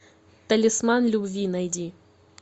талисман любви найди